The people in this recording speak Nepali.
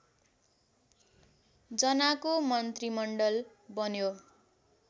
जनाको मन्त्रीमण्डल बन्यो